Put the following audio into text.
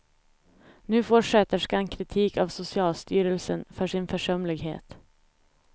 Nu får sköterskan kritik av socialstyrelsen för sin försumlighet.